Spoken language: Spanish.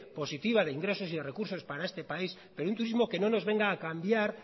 positiva de ingresos y recursos para este país pero un turismo que no nos venga a cambiar